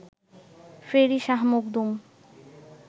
ফেরি Shah Makhdum